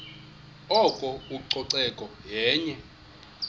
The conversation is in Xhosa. oko ucoceko yenye